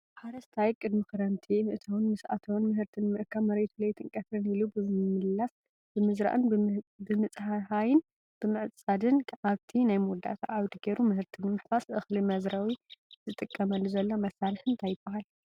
ሓረስታይ ቅድሚ ክረምቲ ምእታውን ምስ ኣተወን ምህርቲ ንምርካብ መሬቱ ለይትን ቀትርን ኢሉ ብምልስላስ ብምዝራእን ብምፅህያይን ብምዕፃድን ኣብቲ ናይ መወዳእታ ዓውዲ ጌሩ ምህርቲ ንምሕፋስ እኽሊ መዝረዊ ዝጥቀመሉ ዘሎ መሳርሒ እንታይ ይበሃል?